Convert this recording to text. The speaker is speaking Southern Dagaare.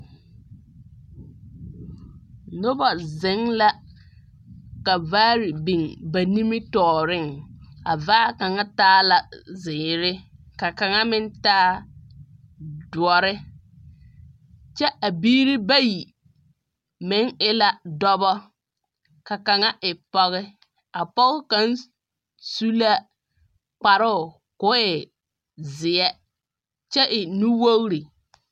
Noba zeŋe la, ka vaare biŋ ba nimitͻͻreŋ. A vaa kaŋa taa la zeere, ka kaŋa meŋ taa dõͻre. kyԑ a biiri bayi meŋ e la dͻbͻ ka kaŋa e pͻge. A pͻge kaŋa su la kparoo koo e zeԑ kyԑ e nuwogiri.